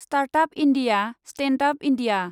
startup India, Standup India